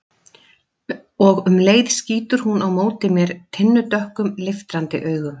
Og um leið skýtur hún á móti mér tinnudökkum, leiftrandi augum.